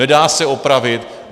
Nedá se opravit.